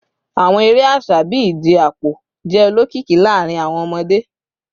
Awọn ere aṣa bii ije apo jẹ olokiki laarin awọn ọmọde